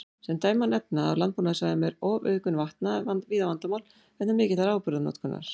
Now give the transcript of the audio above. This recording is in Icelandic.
Sem dæmi má nefna að á landbúnaðarsvæðum er ofauðgun vatna víða vandamál vegna mikillar áburðarnotkunar.